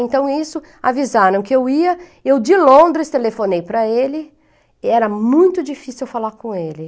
Então, isso, avisaram que eu ia, eu de Londres telefonei para ele, e era muito difícil eu falar com ele.